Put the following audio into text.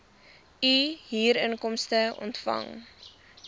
u huurinkomste ontvang